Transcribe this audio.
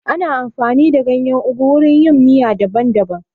Ana amfani da ganyen ugu wurin yin miya daban daban